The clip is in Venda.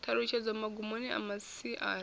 ṱhalutshedzo magumoni a masia ari